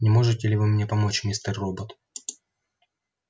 не можете ли вы мне помочь мистер робот